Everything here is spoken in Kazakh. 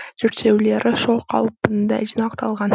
зерттеулері сол қалпында жинақталған